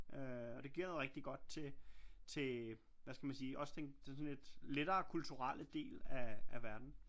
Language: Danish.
Øh og det giver noget rigtig godt til hvad skal man sige også ting den sådan lidt lettere kulturelle del af verden